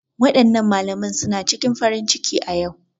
Waɗannan malaman suna cikin farin ciki a ƴau